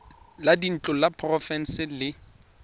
la dintlo la porofense le